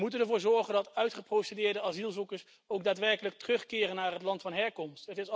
We moeten ervoor zorgen dat uitgeprocedeerde asielzoekers ook daadwerkelijk terugkeren naar het land van herkomst.